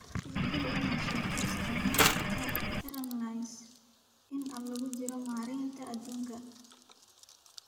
Tixgeli inaad sheegto isticmaalka Tarpaulins inta lagu jiro maaraynta hadhuudhka…